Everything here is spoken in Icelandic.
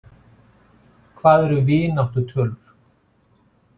Hvað eru vináttutölur?